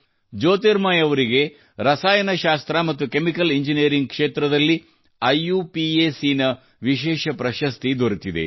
ಜ್ಯೋತಿರ್ಮಯಿ ಅವರಿಗೆ chemical engineering ಕ್ಷೇತ್ರದಲ್ಲಿ IUPAC ನ ವಿಶೇಷ ಪ್ರಶಸ್ತಿ ದೊರೆತಿದೆ